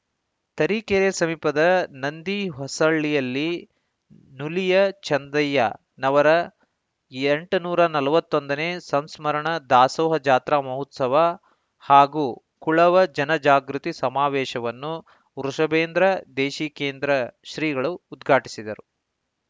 ತರೀಕೆರೆ ಸಮೀಪದ ನಂದಿಹೊಸಳ್ಳಿಯಲ್ಲಿ ನುಲಿಯ ಚಂದಯ್ಯನವರ ಎಂಟನೂರ ನಲವತ್ತೊಂದನೇ ಸಂಸ್ಮರಣ ದಾಸೋಹ ಜಾತ್ರಾ ಮಹೋತ್ಸವ ಹಾಗೂ ಕುಳವ ಜನಜಾಗೃತಿ ಸಮಾವೇಶವನ್ನು ವೃಷಭೇಂದ್ರ ದೇಶಿಕೇಂದ್ರ ಶ್ರೀಗಳು ಉದ್ಘಾಟಿಸಿದರು